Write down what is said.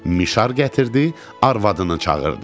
Mişar gətirdi, arvadını çağırdı.